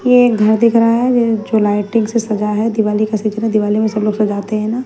यह एक घर दिख रहा है जो लाइटिंग से सजा है। दिवाली का चित्र दिवाली में सब लोग सजाते हैं ना।